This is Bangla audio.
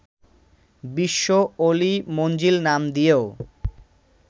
বিশ্ব ওলি মঞ্জিল নাম দিয়েও